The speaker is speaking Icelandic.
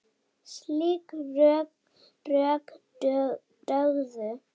Slík rök dugðu.